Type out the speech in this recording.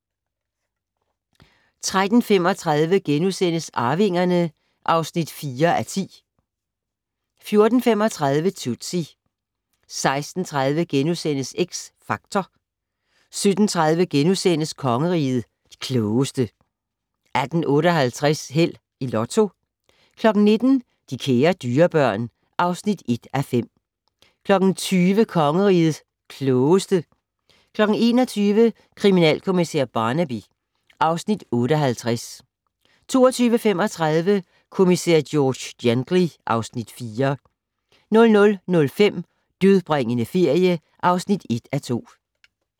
13:35: Arvingerne (4:10)* 14:35: Tootsie 16:30: X Factor * 17:30: Kongerigets Klogeste * 18:58: Held og Lotto 19:00: De kære dyrebørn (1:5) 20:00: Kongerigets Klogeste 21:00: Kriminalkommissær Barnaby (Afs. 58) 22:35: Kommissær George Gently (Afs. 4) 00:05: Dødbringende ferie (1:2)